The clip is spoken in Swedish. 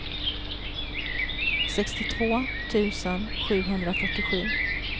sextiotvå tusen sjuhundrafyrtiosju